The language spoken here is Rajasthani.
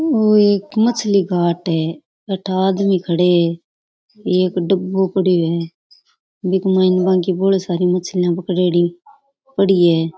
ओ एक मछली घाट है अठ आदमी खड़ा है एक डबो पड़ो है --